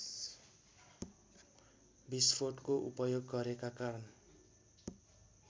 विस्फोटको उपयोग गरेका कारण